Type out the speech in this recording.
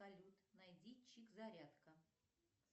салют найди чик зарядка